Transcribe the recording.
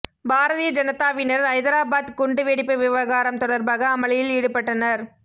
பாரதீய ஜனதாவினர் ஐதராபாத் குண்டு வெடிப்பு விவகாரம் தொடர்பாக அமளியில் ஈடுபட்டனர்